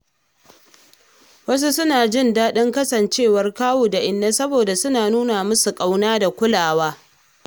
Wasu suna jin daɗin kasancewar kawu da inna saboda suna nuna musu ƙauna da kulawa.